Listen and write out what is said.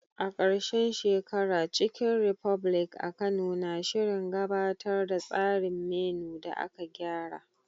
A ƙarshen shekara, Chicken republic a Kano na shirin gabatar da tsarin menu da aka gyara.